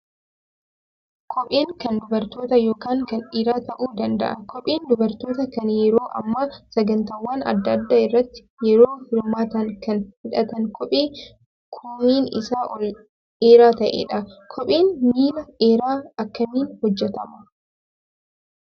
Kopheen kan dubarootaa yookaan kan dhiiraa ta'uu danda'a. Kopheen dubartootaa kan yeroo ammaa sagantaawwan adda addaa irratti yeroo hirmaatan kan hidhatan kophee koomeen isaa ol dheeraa ta'edha. Kopheen miila dheeraa akkamiin hojjatama?